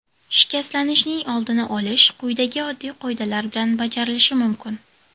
Shikastlanishning oldini olish quyidagi oddiy qoidalar bilan bajarilishi mumkin.